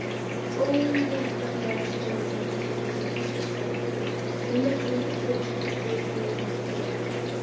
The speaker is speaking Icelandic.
Óneitanlega stóð menningarlíf í Vestur-Berlín með miklum og fjölskrúðugum blóma.